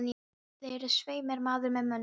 Þér eruð svei mér maður með mönnum.